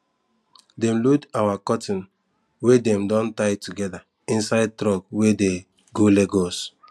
dem load our cotton wey dem don tie together inside truck wey de go lagos